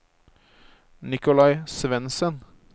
Nicolai Svensen